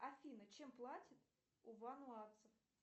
афина чем платят у вануацев